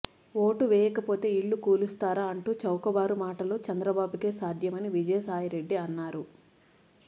vote వేయకపోతే ఇళ్లు కూలుస్తారా అంటూ చౌకబారు మాటలు చంద్రబాబుకే సాధ్యమని విజయసాయిరెడ్డి అన్నారు